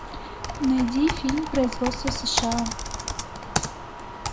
найди фильм производства сша